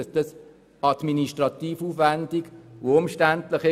Es ist administrativ aufwändig und umständlich.